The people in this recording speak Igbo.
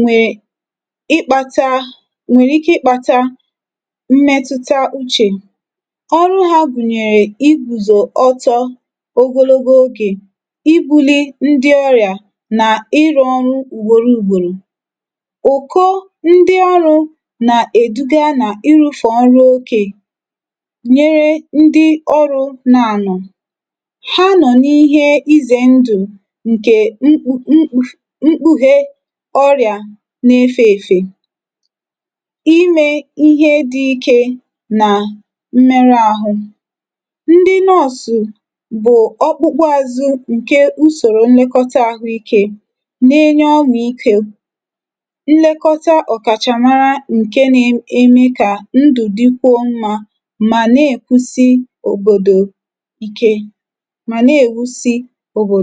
nwẹ̀rẹ̀ ike ịkpāta mmẹtụta uchè. ọrụ ha gùnyèrè igùzì ọtọ ogologo ogè, ibūli ndi ̣ orịà nà ịrụ̄ ọrụ ùgbòro ùgbòrò. ụ̀kọ ndị ọrụ̄ nà èduga nà ịrụfẹ ọrụ ikē, nyere ndị ọrụ nọ ànọ̀. ha nọ̀ n’ihe ịzẹ̀ ndụ̀ ǹkè mkpū mkpùhe ọrị̀à na efē èfè. imē ihe dị ikē nà mmẹrụ ahụ̀. ndị nurse bụ ọkpụkpụ azụ ǹkẹ̀ usòro mmekọta ahụ ikē, na ẹnye ọmàikō, nlekọta ọ̀kàchàmara ǹke na emekwa kà ndụ̀ dikwuo mmā, mdò ike.à nà èkwusi òbòdò ike, mà nà èwusi òbò